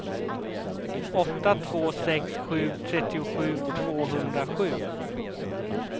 åtta två sex sju trettiosju tvåhundrasju